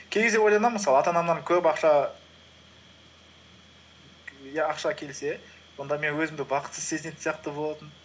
кей кезде ойланамын мысалы ата анамнан көп ақша ақша келсе онда мен өзімді бақытсыз сезінетін сияқты болатын